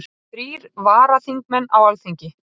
Þrír varaþingmenn á Alþingi